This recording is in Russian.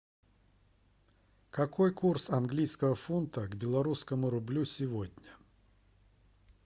какой курс английского фунта к белорусскому рублю сегодня